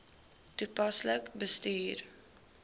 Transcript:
toepaslik bestuur